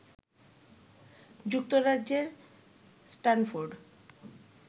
যুক্তরাজ্যের স্টানফোর্ড